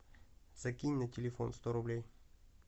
закинь на телефон сто рублей